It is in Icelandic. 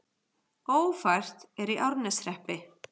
Ófært er í Árneshreppi